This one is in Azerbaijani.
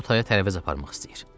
O taya tərəvəz aparmaq istəyir.